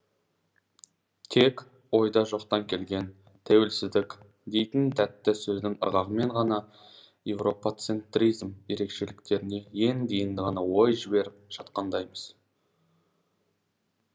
тек ойда жоқта келген тәуелсіздік дейтін тәтті сөздің ырғағымен ғана европацентризм ерекшеліктеріне енді енді ғана ой жіберіп жатқандаймыз